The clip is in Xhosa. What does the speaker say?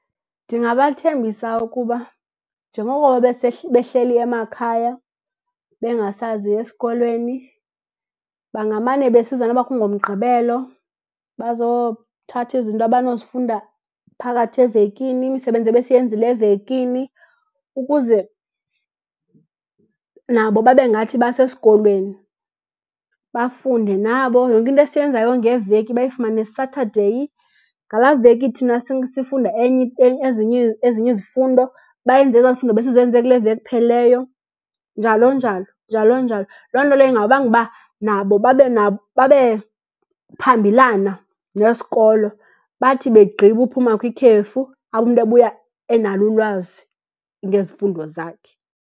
Ndingabathembisa ukuba njengoko behleli emakhaya bengasazi esikolweni, bangamane besiza noba kungoMgqibelo bazothatha izinto abanozifunda phakathi evekini, imisebenzi ebesiyenzile evekini, ukuze nabo babe ngathi basesikolweni, bafunde nabo. Yonke into esiyenzayo ngeveki bayifumane Saturday. Ngalaa veki thina sifunda enye ezinye, ezinye izifundo bayenze ezaa zifundo besizenze kule veki iphelileyo, njalo njalo, njalo njalo. Loo nto leyo ingabanga uba nabo babe , babe phambilana nesikolo. Bathi begqiba uphuma kwikhefu abe umntu ebuya enalo ulwazi ngezifundo zakhe.